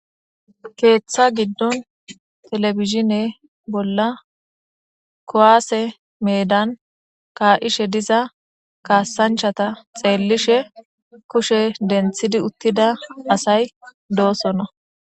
Keetha gidon televisione bolla kuwase medani ka'ishe diza kasanchata xeelishe kushe denthid utida asayi dosona.